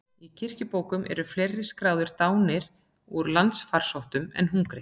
Í kirkjubókum eru fleiri skráðir dánir úr landfarsótt en hungri.